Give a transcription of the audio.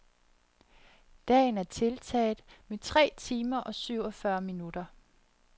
Dagen er tiltaget med tre timer og syvogfyrre minutter.